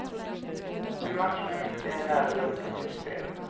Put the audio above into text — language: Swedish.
En match med mycket nerver och dåligt spel.